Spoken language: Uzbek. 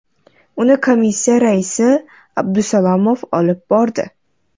Uni Komissiya raisi M. Abdusalomov olib bordi.